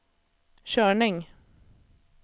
körning